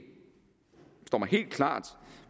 står mig helt klart